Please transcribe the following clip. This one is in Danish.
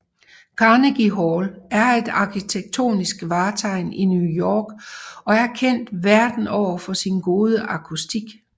Carnegie Hall er et arkitektonisk vartegn i New York og er kendt verden over for sin gode akustik